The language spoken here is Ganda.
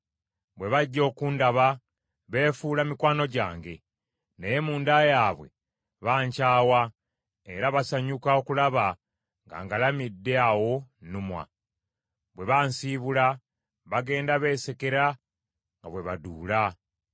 Bwe bajja okundaba beefuula mikwano gyange; naye munda yaabwe bankyawa era basanyuka okulaba nga ngalamidde awo nnumwa. Bwe bansiibula bagenda beesekera nga bwe baduula.